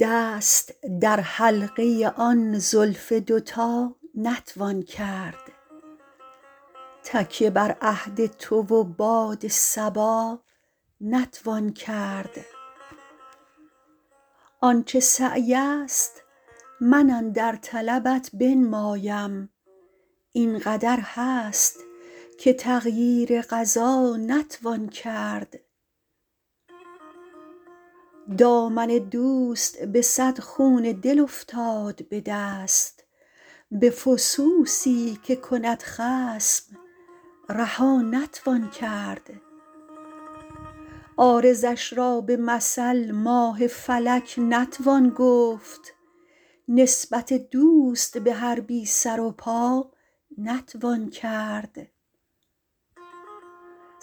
دست در حلقه آن زلف دوتا نتوان کرد تکیه بر عهد تو و باد صبا نتوان کرد آن چه سعی است من اندر طلبت بنمایم این قدر هست که تغییر قضا نتوان کرد دامن دوست به صد خون دل افتاد به دست به فسوسی که کند خصم رها نتوان کرد عارضش را به مثل ماه فلک نتوان گفت نسبت دوست به هر بی سر و پا نتوان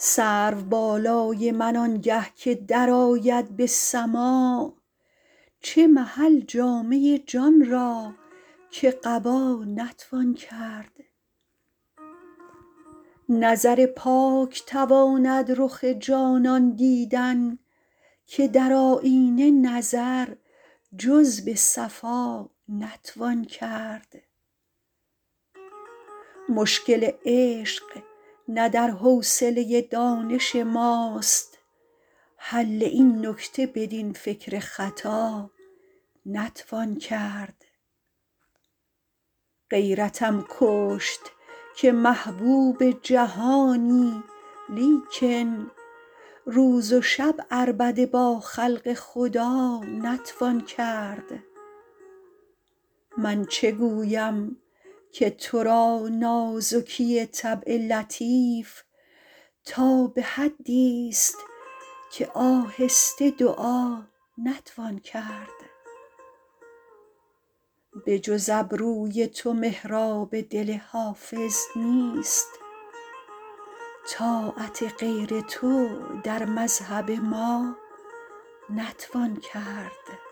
کرد سرو بالای من آنگه که درآید به سماع چه محل جامه جان را که قبا نتوان کرد نظر پاک تواند رخ جانان دیدن که در آیینه نظر جز به صفا نتوان کرد مشکل عشق نه در حوصله دانش ماست حل این نکته بدین فکر خطا نتوان کرد غیرتم کشت که محبوب جهانی لیکن روز و شب عربده با خلق خدا نتوان کرد من چه گویم که تو را نازکی طبع لطیف تا به حدیست که آهسته دعا نتوان کرد بجز ابروی تو محراب دل حافظ نیست طاعت غیر تو در مذهب ما نتوان کرد